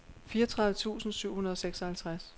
fireogtredive tusind syv hundrede og seksoghalvtreds